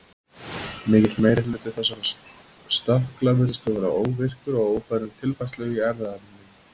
Mikill meiri hluti þessara stökkla virðist þó vera óvirkur og ófær um tilfærslu í erfðaefninu.